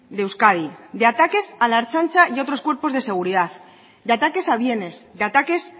de euskadi de ataques a la ertzaintza y a otros cuerpos de seguridad de ataques a bienes de ataques